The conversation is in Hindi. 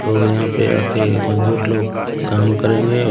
लोग यहां पे आके मजदूर लोग काम करेंगे।